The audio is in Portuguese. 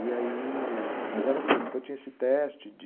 E aí... Mas era assim, então tinha esse teste de...